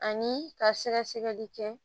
Ani ka sɛgɛsɛgɛli kɛ